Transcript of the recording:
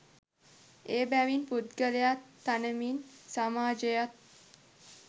එබැවින් පුද්ගලයා තනමින් සමාජයත්,